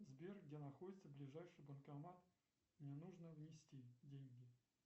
сбер где находится ближайший банкомат мне нужно внести деньги